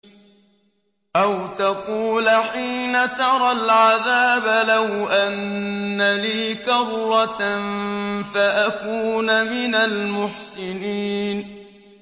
أَوْ تَقُولَ حِينَ تَرَى الْعَذَابَ لَوْ أَنَّ لِي كَرَّةً فَأَكُونَ مِنَ الْمُحْسِنِينَ